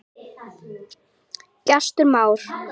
Gestur Már.